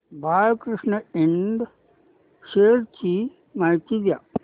Balkrishna Ind shares ची माहिती द्या